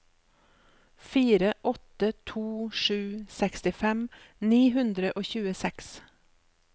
fire åtte to sju sekstifem ni hundre og tjueseks